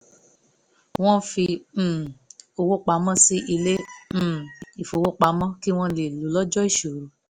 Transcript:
wọ́n fi um owó pamọ́ sí ilé um ìfowópamọ́ kí wọ́n lè lo ó lọ́jọ́ ìṣòro